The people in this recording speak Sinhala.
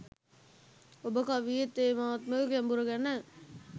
ඔබ කවියේ තේමාත්මක ගැඹුර ගැන